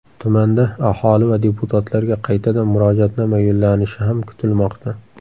Tumanda aholi va deputatlarga qaytadan murojaatnoma yo‘llanishi ham kutilmoqda.